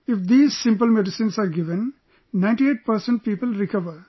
If these simple medicines are given, 98% people recover